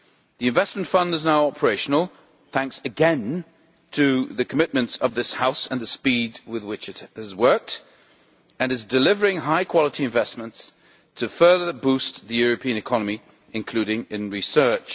The Investment Fund is now operational, thanks again to the commitments of this House and the speed with which it has worked, and is delivering high quality investments to further boost the European economy, including in research.